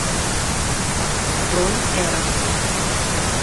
бронь эрос